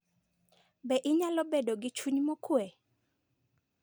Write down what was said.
Be inyalo bedo gi chuny mokuwe?